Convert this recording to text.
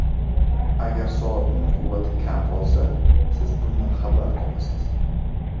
Agar soatning quvvati kam qolsa siz bundan xabar topasiz!